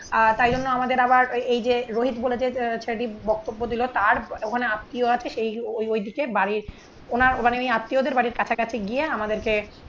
আহ তাই জন্য আমাদের আবার এই যে রোহিত বলে যেই ছেলেটি বক্তব্য দিলো. তার ওখানে আত্মীয় আছে সেই ওইদিকে বাড়ির ওনার মানে উনি আত্মীয়দের বাড়ির কাছাকাছি গিয়ে আমাদেরকে